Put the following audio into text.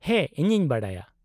ᱦᱮᱸ, ᱤᱧᱤᱧ ᱵᱟᱰᱟᱭᱟ ᱾